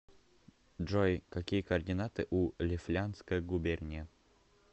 джой какие координаты у лифляндская губерния